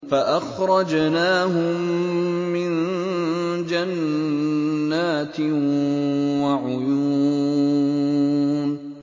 فَأَخْرَجْنَاهُم مِّن جَنَّاتٍ وَعُيُونٍ